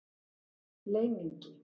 Leyningi